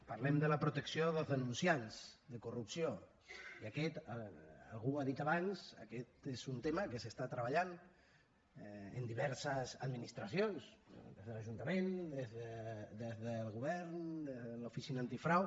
parlem de la protecció dels denunciants de corrupció i aquest algú ho ha dit abans és un tema que s’està treballant en diverses administracions des de l’ajuntament des del govern des de l’oficina antifrau